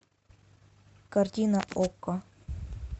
картина окко